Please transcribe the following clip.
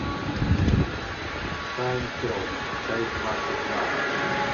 сайнфелд часть двадцать два